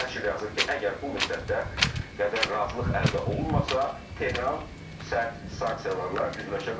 Və nəşr yazır ki, əgər bu müddətdə qədər razılıq əldə olunmasa, Tehran sərt sanksiyalarla üzləşə bilər.